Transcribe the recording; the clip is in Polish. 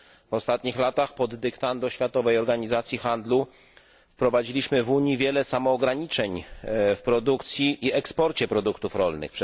W ostatnich latach pod dyktando Światowej Organizacji Handlu wprowadziliśmy w Unii wiele samoograniczeń w produkcji i eksporcie produktów rolnych.